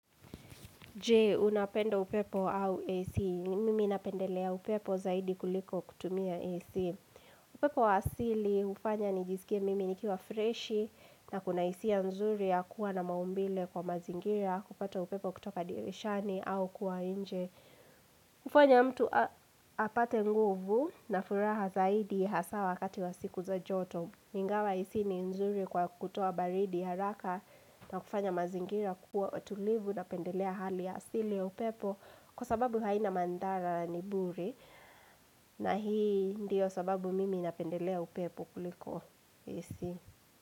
Je, unapenda upepo au AC? Mimi ninapendelea upepo zaidi kuliko kutumia AC. Upepo wa asili hufanya nijisikie mimi nikiwa freshi na kuna hisia nzuri ya kuwa na maumbile kwa mazingira, kupata upepo kutoka dirishani au kuwa nje. Hufanya mtu apate nguvu na furaha zaidi hasaa wakati wa siku za joto. Ingawa AC ni nzuri kwa kutoa baridi haraka na kufanya mazingira kuwa tulivu, napendelea hali asili ya upepo. Kwa sababu haina madhara, ni bure na hii ndiyo sababu mimi napendelea upepo kuliko AC.